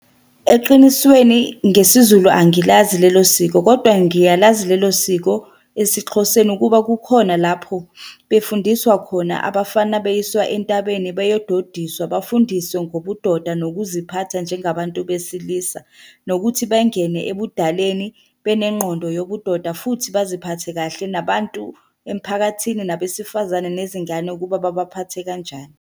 Eqinisweni ngesiZulu angilazi lelo siko, kodwa ngiyalazi lelo siko esiXhoseni ukuba kukhona lapho befundiswa khona abafana beyiswa entabeni beyododiswa. Bafundiswe ngobudoda nokuziphatha njengabantu besilisa, nokuthi bengene ebudaleni benegqondo yobudoda futhi baziphathe kahle nabantu emiphakathini, nabesifazane, nezingane ukuba babaphathe kanjani.